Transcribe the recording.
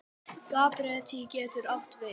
Gabríel getur átt við